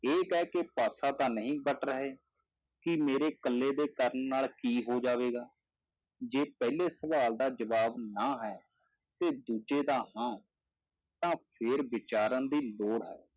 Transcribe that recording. ਇਹ ਕਹਿ ਕੇ ਪਾਸਾ ਤਾਂ ਨਹੀਂ ਵੱਟ ਰਹੇ ਕਿ ਮੇਰੇ ਇਕੱਲੇ ਦੇ ਕਰਨ ਨਾਲ ਕੀ ਹੋ ਜਾਵੇਗਾ, ਜੇ ਪਹਿਲੇ ਸਵਾਲ ਦਾ ਜਵਾਬ ਨਾਂ ਹੈ ਤੇ ਦੂਜੇ ਦਾ ਹਾਂ ਤਾਂ ਫਿਰ ਵਿਚਾਰਨ ਦੀ ਲੋੜ ਹੈ,